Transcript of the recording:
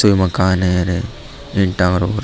यो मकान है र एक टावर और --